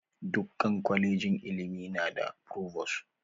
Dukkan kolejin ilimi na da frovos.